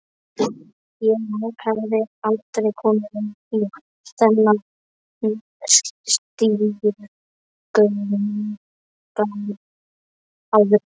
Ég hafði aldrei komið inn í þennan stigagang áður.